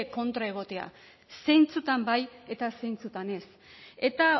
kontra egotea zeintzuetan bai eta zeintzuetan ez eta